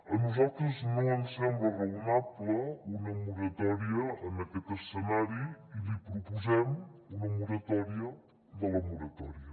a nosaltres no ens sembla raonable una moratòria en aquest escenari i li proposem una moratòria de la moratòria